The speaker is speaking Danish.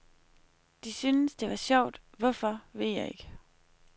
De syntes det var sjovt, hvorfor ved jeg ikke.